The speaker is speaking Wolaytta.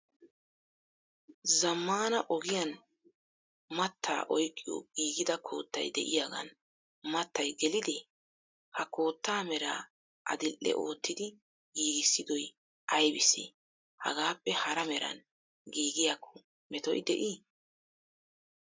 Zammana ogiyan mattaa oyqqiyo giigida kootay de'iyaagan mattay gelidee? Ha koota meraa adil"e oottidi giigissidoy aybbise? Hagappe hara meran giigiyakko metoy de"ii?